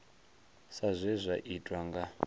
sa zwe zwa tiwa nga